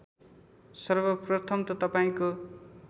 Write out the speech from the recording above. सर्वप्रथम त तपाईँको